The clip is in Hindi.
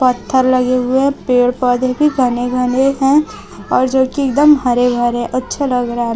पत्थर लगे हुए पेड़ पौधे भी घने घने हैं और जो कि एकदम हरे भरे अच्छा लग रहा--